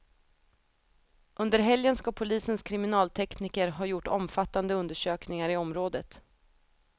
Under helgen ska polisens kriminaltekniker ha gjort omfattande undersökningar i området.